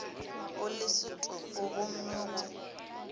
o le setopo gomme go